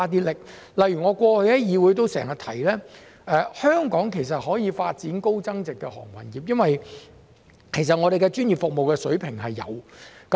例如我過去在議會內經常指出，香港可以發展高增值航運業，因為我們的服務水平專業。